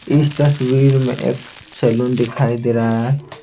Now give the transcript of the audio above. इस तस्वीर में एक सैलून दिखाई दे रहा है।